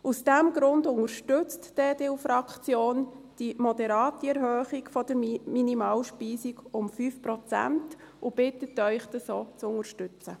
Aus diesem Grund unterstützt die EDU-Fraktion die moderate Erhöhung der Minimalspeisung um 5 Prozent und bittet Sie, dies auch zu unterstützen.